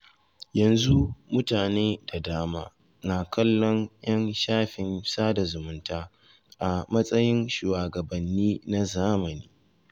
Yanzu mutane da dama na kallon ‘yan shafin sada zumunta a matsayin shuwagabanni na zamani.